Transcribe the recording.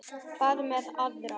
Hvað með aðra?